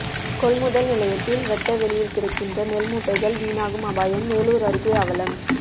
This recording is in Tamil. கொள்முதல் நிலையத்தில் வெட்ட வெளியில் கிடக்கின்றன நெல் மூட்டைகள் வீணாகும் அபாயம் மேலூர் அருகே அவலம்